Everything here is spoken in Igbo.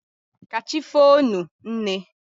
ka chi foonu, nne.